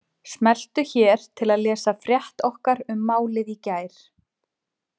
Smelltu hér til að lesa frétt okkar um málið í gær